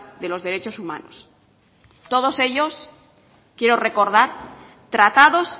de los derechos humanos todos ellos quiero recordar tratados